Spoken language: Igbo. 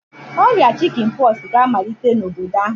Oria Chicken pox ga-amalite n'obodo ahu